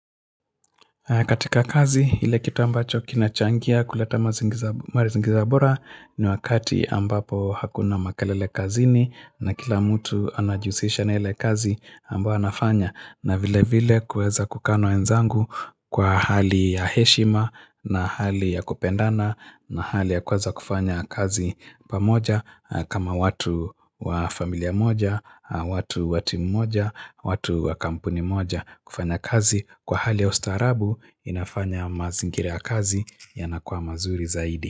Katika kazi, ile kitu ambacho kinachangia kuleta mazingira bora ni wakati ambapo hakuna makalele kazini na kila mtu anajihusisha na ile kazi ambayo anafanya. Na vile vile kuweza kukaa na wenzangu kwa hali ya heshima na hali ya kupendana na hali ya kuweza kufanya kazi pamoja kama watu wa familia moja, watu wa timu moja, watu wa kampuni moja kufanya kazi kwa hali ya ustaarabu inafanya mazingira ya kazi yanakuwa mazuri zaidi.